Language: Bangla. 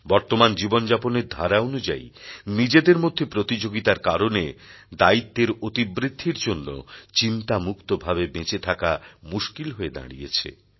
বর্তমান জীবনযাপনের ধারা অনুযায়ী নিজেদের মধ্যে প্রতিযোগিতার কারণে দায়িত্বের অতিবৃদ্ধির জন্যে চিন্তামুক্তভাবে বেঁচে থাকা মুশকিল হয়ে দাঁড়িয়েছে